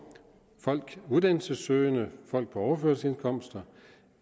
uddannelsessøgende og folk på overførselsindkomster